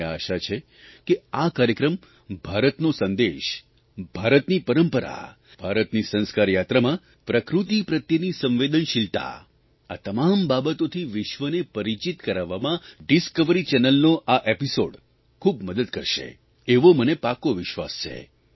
મને આશા છ કે આ કાર્યક્રમ ભારતનો સંદેશ ભારતની પરંપરા ભારતની સંસ્કાર યાત્રામાં પ્રકૃતિ પ્રત્યેની સંવેદનશીલતા આ તમામ બાબતોથી વિશ્વને પરિચિત કરાવવામાં ડિસ્કવરી ચેનલનો આ એપીસોડ ખૂબ મદદ કરશે એવો મને પાકો વિશ્વાસ છે